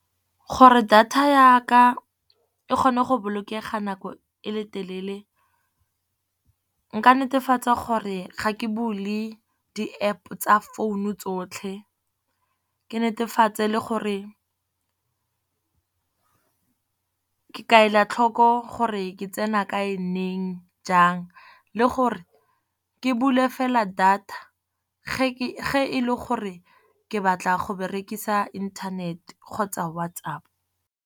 Gore data yaka e kgone go bolokega nako e le telele, nka netefatsa gore ga ke bule di App tsa phone-u tsotlhe. Ke netefatse le gore ke ka ela tlhoko gore ke tsena kae neng, jang. Le gore ke bule fela data ge e le gore ke batla go berekisa internet kgotsa WhatsApp.